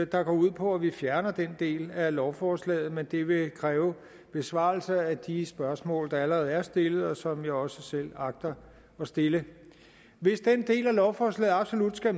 der går ud på at vi fjerner den del af lovforslaget men det vil kræve besvarelser af de spørgsmål der allerede er stillet og som jeg også selv agter at stille hvis den del af lovforslaget absolut skal